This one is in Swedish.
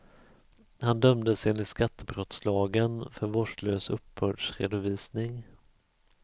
Han dömdes, enligt skattebrottslagen, för vårdslös uppbördsredovisning.